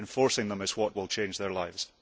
enforcing them is what will change their lives.